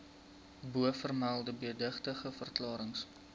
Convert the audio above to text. bovermelde beëdigde verklarings